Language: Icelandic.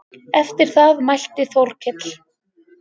Eftir það mælti Þórkell